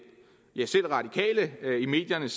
ja selv radikale siger i medierne